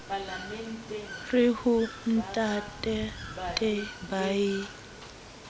re ho ntatate ba ye